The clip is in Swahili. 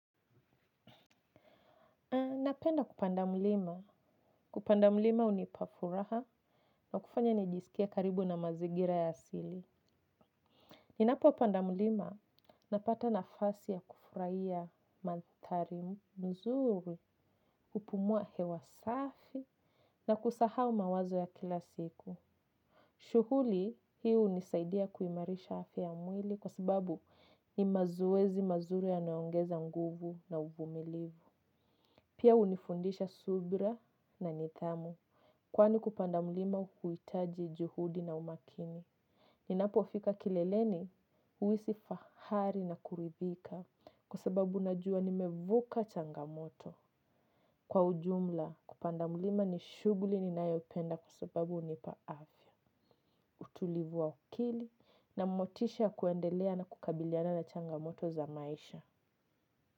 Napenda kupanda mlima. Kupanda mlima hunipa furaha na kufanya nijisikie karibu na mazingira ya asili. Ninapo panda mlima, napata nafasi ya kufurahia mandhari mzuri, hupumua hewa safi na kusahau mawazo ya kila siku. Shughuli hii unisaidia kuimarisha afya ya mwili kwa sababu ni mazoezi mazuri yanayoongeza nguvu na uvumilivu. Pia hunifundisha subira na nidhamu. Kwani kupanda mlima huitaji juhudi na umakini. Ninapo fika kileleni huhisi fahari na kuridhika. Kwa sababu najua nimevuka changamoto. Kwa ujumla kupanda mlima ni shughuli ninayopenda kwa sababu hunipa afya utulivu wa akili na motisha kuendelea na kukabiliana na changamoto za maisha.